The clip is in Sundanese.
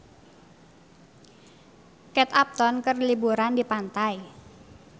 Kate Upton keur liburan di pantai